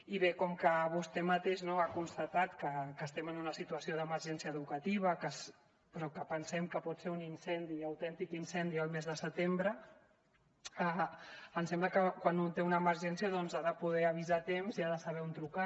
i bé com que vostè mateix no ha constatat que estem en una situació d’emergència educativa però que pensem que pot ser un incendi autèntic incendi el mes de setembre em sembla que quan un té una emergència doncs ha de poder avisar a temps i ha de saber on trucar